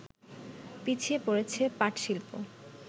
পিছিয়ে পড়ছে পাটশিল্প